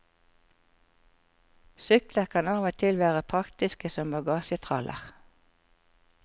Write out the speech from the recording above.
Sykler kan av og til være praktiske som bagasjetraller.